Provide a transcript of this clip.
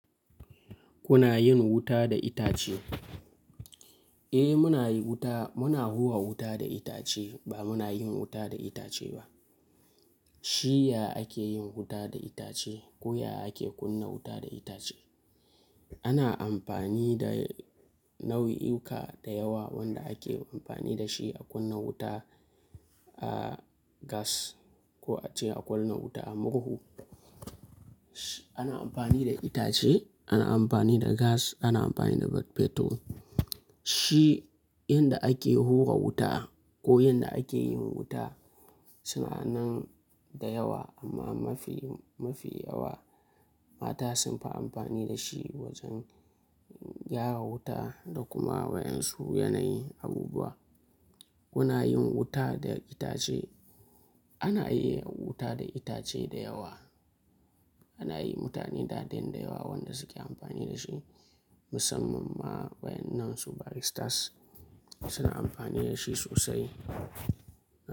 Kuna yin wuta da itace? Eh muna yi wuta, muna hura wuta da itace ba muna yin wuta da itace ba. Shi ya ake yin wuta da itace ko ya ake kunna wuta da itace. Ana amfani da nau'iyuka da yawa wanda ake amfani da shi a kunna wuta, a gas ko a ce a ƙona wuta a murhu. Ana amfani da itace, ana amfani da gas, ana amfani da fetur. Shi yanda ake hura wuta ko yanda ake yin wuta suna nan da yawa amma mafi, mafi yawa mata sunfi amfani da shi wajen gyara wuta da kuma waƴan su yanayi abubuwa. Ku na yin wuta da itace. Ana iya wuta da itace da yawa. Ana yi mutane da daren da yawa wanda suke amfani da shi musamman ma wa ƴan nan su baristas suna amfani da shi sosai.